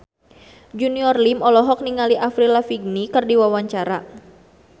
Junior Liem olohok ningali Avril Lavigne keur diwawancara